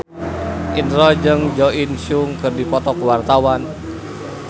Indro jeung Jo In Sung keur dipoto ku wartawan